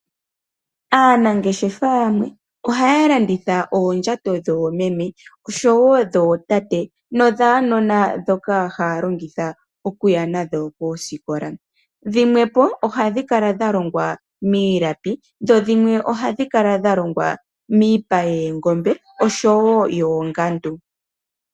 Aanangeshefa yamwe ohaya landitha oondjato dhoomeme ,oshowo dhootate nodhuunona ndhoka haya longitha okuya nadho koosikola, dhimwe ohadhi kala dha longwa miilapi dho dhimwe ohadhi kala dha longwa miipa yoongombe oshowo yoongandu.